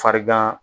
Farigan